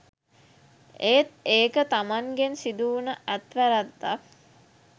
එත් ඒක තමන්ගෙන් සිදුවුන අත්වැරැද්දක්